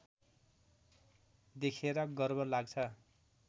देखेर गर्व लाग्छ